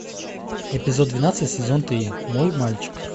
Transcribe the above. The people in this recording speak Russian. эпизод двенадцать сезон три мой мальчик